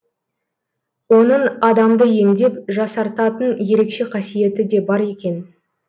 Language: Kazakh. оның адамды емдеп жасартатын ерекше қасиеті де бар екен